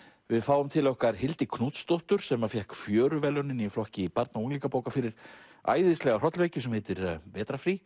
við fáum til okkar Hildi Knútsdóttur sem fékk í flokki barna og unglingabóka fyrir æðislega hrollvekju sem heitir vetrarfrí